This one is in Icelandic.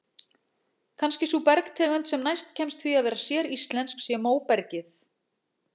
Kannski sú bergtegund sem næst kemst því að vera séríslensk sé móbergið.